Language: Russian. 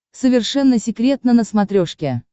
совершенно секретно на смотрешке